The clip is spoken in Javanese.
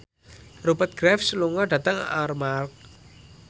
Rupert Graves lunga dhateng Armargh